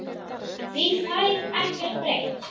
Því fær ekkert breytt.